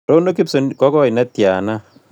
Rono gibson ko koi netiana